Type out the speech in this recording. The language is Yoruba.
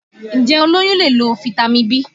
Ǹjẹ́ olóyún lè lo Fitami B?